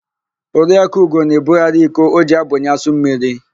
Oriakụ Ugo na-ebugharị iko o ji abunye asụmmiri.